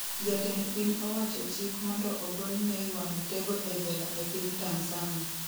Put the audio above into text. Jatend piny owacho chik mondo ogol Nay wa Mitego e jela e piny Tanzania